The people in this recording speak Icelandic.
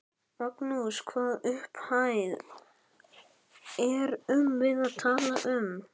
Magnús: Hvaða upphæð erum við að tala um?